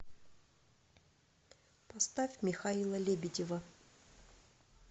поставь михаила лебедева